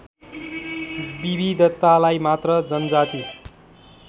विविधतालाई मात्र जनजाति